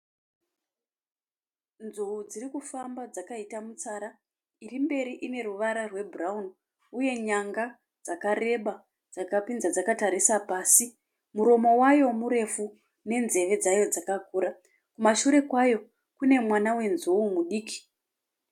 Nzou dziri kufamba dzakaita mutsara. Iri mberi ine ruvara rwebhurawuni uye nyanga dzakareba dzakapinza dzakatarisa pasi. Muromo wayo murefu nenzeve dzayo dzakakura. Kumashure kwayo kune mwana wenzou mudiki.